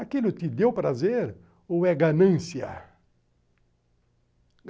Aquilo te deu prazer ou é ganância?